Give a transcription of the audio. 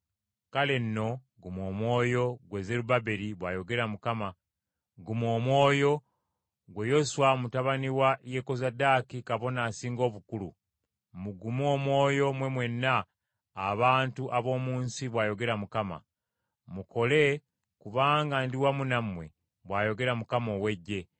Kale nno guma omwoyo, ggwe Zerubbaberi, bw’ayogera Mukama ; guma omwoyo, ggwe Yoswa mutabani wa Yekozadaaki kabona asinga obukulu; mugume omwoyo mmwe mwenna abantu ab’omu nsi,’ bw’ayogera Mukama , ‘Mukole, kubanga ndi wamu nammwe,’ bw’ayogera Mukama ow’Eggye.